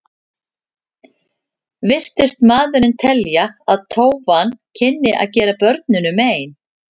Virtist maðurinn telja að tófan kynni að gera börnunum mein.